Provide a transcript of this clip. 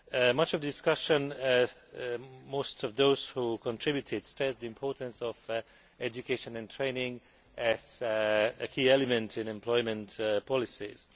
Much of the discussion, and most of those who contributed, stressed the importance of education and training as a key element of employment policies.